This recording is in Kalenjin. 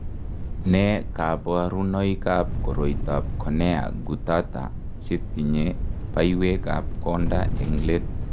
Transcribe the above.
Nee kabarunoikab koroitoab Cornea Guttata chetinye baiwekab konda eng' let.